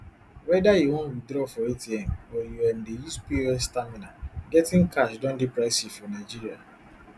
weda you wan withdraw for atm or you um dey use pos terminal getting cash don dey pricey for nigeria